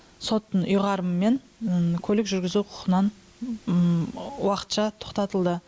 соттың ұйғарымымен көлік жүргізу құқығынан уақытша тоқтатылды